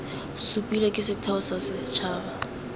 supilwe ke setheo sa setshaba